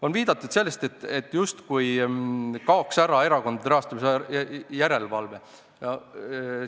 On viidatud, et erakondade rahastamise järelevalve justkui kaob ära.